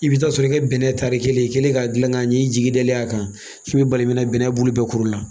I bɛ taa sɔrɔ i ka bɛnnɛ tari kelen, i kɛlen ka gilan ka ɲɛ, i jigi dalen a kan, i bi bali ka yen bɛnnɛ bulu bɛɛ kuru la.